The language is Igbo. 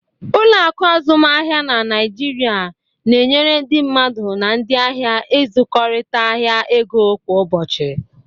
Ụlọ akụ azụmaahịa na Naịjirịa na-enyere ndị mmadụ na ndị ahịa ịzụkọrịta ahịa ego kwa ụbọchị.